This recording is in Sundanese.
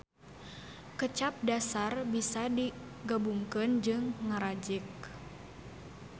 Kecap dasar bisa digabungkeun jeung ngarajek